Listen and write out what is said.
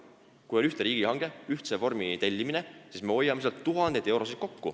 Kui on ühtne riigihange, tellitakse ühtne vorm, siis me hoiame kokku tuhandeid eurosid.